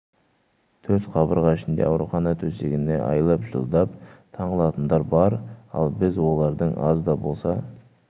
төрт қабырға ішінде аурухана төсегіне айлап жылдап таңылатындар бар ал біз олардың аз да болса